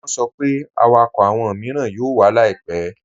Wọ́n sọ pé àwákọ́ awọn miiràn yóò wà láìpẹ̀.